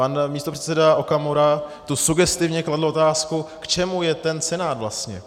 Pan místopředseda Okamura tu sugestivně kladl otázku, k čemu je ten Senát vlastně.